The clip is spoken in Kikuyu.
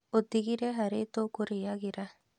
Ũtigire harĩ tũkũrĩagĩra